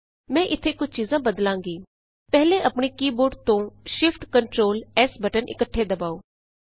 ਮੈਂ ਇਥੇ ਕੁਝ ਚੀਜਾਂ ਬਦਲਾਂਗੀ ਪਹਿਲੇ ਆਪਣੇ ਕੀ ਬੋਰਡ ਤੋਂ shiftctrls ਬਟਨ ਇੱਕਠੇ ਦਬਾਉ